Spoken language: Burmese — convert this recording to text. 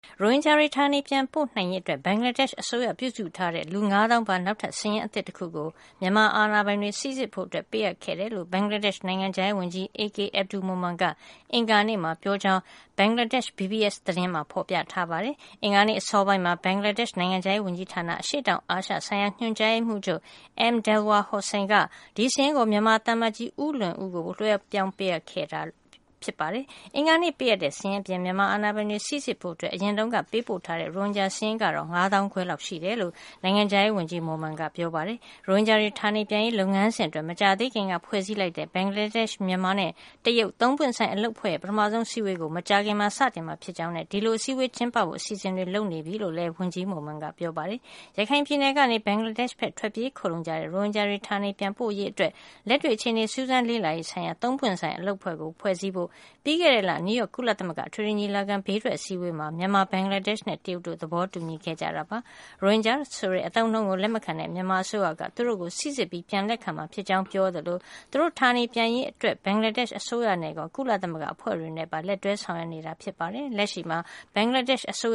ရိုဟင်ဂျာတွေ ဌာနေပြန်ပို့နိုင်ရေးအတွက် ဘင်္ဂလားဒေ့ရှ်အစိုးရပြုစုထားတဲ့ လူ ၅၀,၀၀၀ ပါ နောက်ထပ်စာရင်းအသစ်တခုကို မြန်မာအာဏာပိုင်တွေ စိစစ်ဖို့ ပေးအပ်ခဲ့တယ်လို့ ဘင်္ဂလားဒေ့ရှ် နိုင်ငံခြားရေးဝန်ကြီး AK Abdul Momen ကပြောတာကို ကိုးကား ပြီး ဘင်္ဂလားဒေ့ရှ် BSS သတင်းတပုဒ်မှာ ဖော်ပြထားပါတယ်။ အင်္ဂါနေ့အစောပိုင်းမှာ ဘင်္ဂလားဒေ့ရှ် နိုင်ငံခြားရေးဝန်ကြီးဌာန အရှေ့တောင်အာရှဆိုင်ရာ ညွှန်ကြားရေးမှုးချုပ် M. Delwar Hossain က ဒီစာရင်းကို မြန်မာသံအမတ်ကြီး ဦးလွင်ဦးကို လွှဲပြောင်းပေးအပ်ခဲ့တာ ဖြစ်ပါတယ်။ အင်္ဂါနေ့ပေးအပ်တဲ့ စာရင်းအပြင် မြန်မာအာဏာပိုင်တွေ စိစစ်ဖို့ အရင်တုန်းက ပေးပို့ထားတဲ့ ရိုဟင်ဂျာစာရင်းကတော့ ၅၅,၀၀၀ လောက်ရှိတယ်လု့ိ နိုင်ငံခြားရေးဝန်ကြီး Momen က ပြောပါတယ်။ ရိုဟင်ဂျာတွေ ဌာနေပြန်ရေးလုပ်ငန်းစဉ်အတွက် မကြာသေးခင်က ဖွဲ့စည်းလိုက်တဲ့ ဘင်္ဂလားဒေ့ရှ်၊ မြန်မာနဲ့ တရုတ် သုံးပွင့်ဆိုင် အလုပ်အဖွဲ့ရဲ့ ပထမဆုံးအစည်းအဝေးကို မကြာခင် စတင်မှာဖြစ်ကြောင်းနဲ့ ဒီလိုအစည်းအဝေးကျင်းပဖို့ အစီအစဉ်တွေ လုပ်နေကြောင်းလည်း ဝန်ကြီး Momen က ပြောပါတယ်။ ရခိုင်ပြည်နယ်ကနေ ဘင်္ဂလားဒေ့ရှ်ဘက် ထွက်ပြေးခိုလှုံကြတဲ့ ရိုဟင်ဂျာတွေ ဌာနေပြန်ပို့နိုင်ရေးအတွက် လက်တွေ့ အခြေအနေ စူးစမ်းလေ့လာရေးဆိုင်ရာ သုံးပွင့်ဆိုင်အလုပ်အဖွဲ့ကို ဖွဲ့စည်းဖို့ ပြီးခဲ့တဲ့လ နယူးရောက် ကုလသမဂ္ဂ အထွေထွေညီလာခံရဲ့ ဘေးထွက်အစည်းဝေးမှာ မြန်မာ၊ ဘင်္ဂလားဒေ့ရှ်နဲ့ တရုတ်တို့ သဘောတူညီခဲ့ကြတာပါ။ ရိုဟင်ဂျာဆိုတဲ့ အသုံးအနှုန်းကို လက်မခံတဲ့ မြန်မာအစိုးရက သူတို့ကို စိစစ်ပြီး ပြန်လက်ခံမှာဖြစ်ကြောင်း ပြောကြာထားသလို သူတို့ဌာနေပြန်ရေးအတွက် ဘင်္ဂလားဒေ့ရှ် အစိုးရနဲ့ရော ကုလသမဂ္ဂအဖွဲ့တွေနဲ့ပါ လက်တွဲဆောင်ရွက်နေတယ်လို့ ပြောထားပါတယ်။ လက်ရှိအားဖြင့် ဘင်္ဂလားဒေ့ရှ်နို